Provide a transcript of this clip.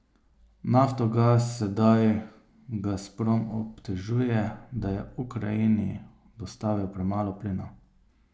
Naftogaz sedaj Gazprom obtožuje, da je Ukrajini dostavil premalo plina.